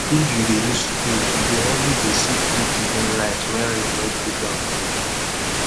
if you dey use spade you go always dey see good digging lines wen rain wet the ground